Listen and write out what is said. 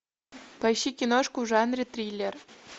поищи киношку в жанре триллер